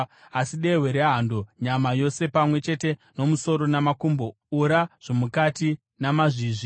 Asi dehwe rehando, nyama yose pamwe chete nomusoro namakumbo, ura zvomukati namazvizvi,